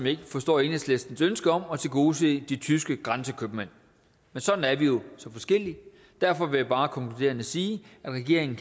ikke forstår enhedslistens ønske om at tilgodese de tyske grænsekøbmænd men sådan er vi jo så forskellige derfor vil jeg bare konkluderende sige at regeringen